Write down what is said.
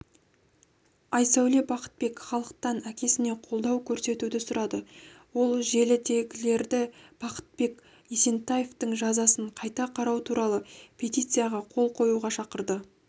айсәуле бақытбек халықтан әкесіне қолдау көрсетуді сұрады ол желідегілерді бақытбек есентаевтың жазасын қайта қарау туралы петицияға қол қоюға шақырды